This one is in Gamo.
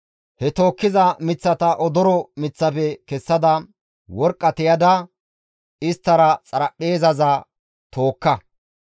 He tookkiza miththata odoro miththafe kessada, worqqa tiyada isttara xaraphpheezaza tookka.